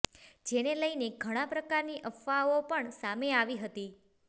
જેને લઇને ઘણા પ્રકારની અફવાઓ પણ સામે આવી હતી